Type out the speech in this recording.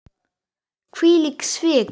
Hvílík svik!